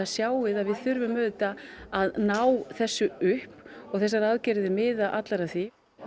sjáum að við þurfum að ná þessu upp og þessar aðgerðir miða allar að því